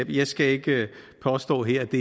jeg skal ikke påstå her at det